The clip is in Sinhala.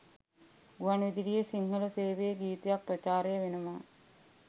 ගුවන් විදුලියෙ සිංහල සේවයෙ ගීතයක් ප්‍රචාරය වෙනවා